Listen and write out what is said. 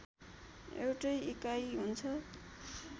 एउटै इकाइ हुन्छ